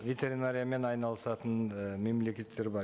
ветеринариямен айналысатын і мемлекеттер бар